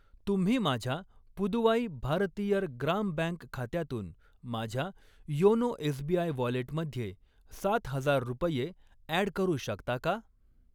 तुम्ही माझ्या पुदुवाई भारतियर ग्राम बँक खात्यातून माझ्या योनो एसबीआय वॉलेटमध्ये सात हजार रुपये ॲड करू शकता का?